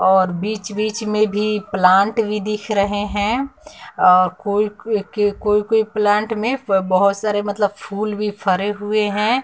और बीच बीच में भी प्लांट भी दिख रहे हैं कोई कोई प्लांट में बहुत सारे मतलब फूल भी फेरे हुए हैं।